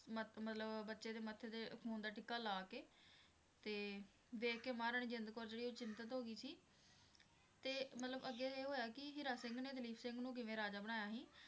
ਮਤ~ ਮਤਲਬ ਬੱਚੇ ਦੇ ਮੱਥੇ ਤੇ ਖ਼ੂਨ ਦਾ ਟਿੱਕਾ ਲਾ ਕੇ ਤੇ ਵੇਖ ਕੇ ਮਹਾਰਾਣੀ ਜਿੰਦ ਕੌਰ ਜਿਹੜੀ ਉਹ ਚਿੰਤਤ ਹੋ ਗਈ ਸੀ ਤੇ ਮਤਲਬ ਅੱਗੇ ਇਹ ਹੋਇਆ ਕਿ ਹੀਰਾ ਸਿੰਘ ਨੇ ਦਲੀਪ ਸਿੰਘ ਨੂੰ ਕਿਵੇਂ ਰਾਜਾ ਬਣਾਇਆ ਸੀ।